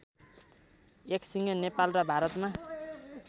एकसिङे नेपाल र भारतमा